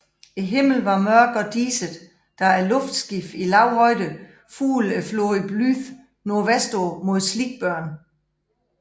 Himlen var mørk og diset da luftskibet i lav højde fulgte floden Blyth nordvestpå mod Sleekburn